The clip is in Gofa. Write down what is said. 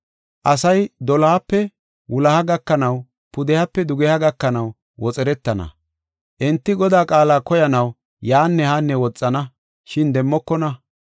Asay dolohape wuloha gakanaw, pudehape dugeha gakanaw woxeretana. Enti Godaa qaala koyanaw yaanne haanne woxana, shin demmokona.